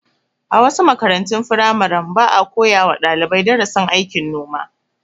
A wasu makarantun firamaren, ba a koya wa dalibai darasin aikin noma.